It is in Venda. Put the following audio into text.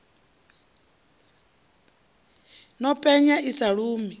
no penya i sa lumi